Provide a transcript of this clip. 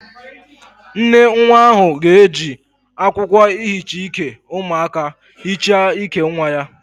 Nnenwa ahu ga-eji akwokwo ihicha Ike umuaka hicha Ike nwa ya